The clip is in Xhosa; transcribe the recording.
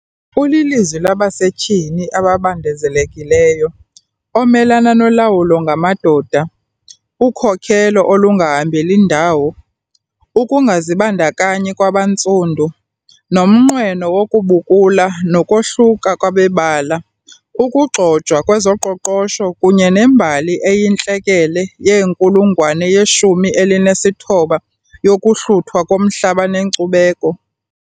ulilizwi labasetyhini ababandezelekileyo omelana nolawulo ngamadoda, ukhokhelo olungahambeli ndawo, ukungazibandakanyi kwabantsundu, nomnqweno wokubukula nokohluka kwabebala, ukugxojwa kwezoqoqosho kunye nembali eyintlekele yeenkulungwane yeshumi elinesithoba yokuhluthwa komhlaba nenkcubeko.